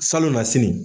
Salo na sini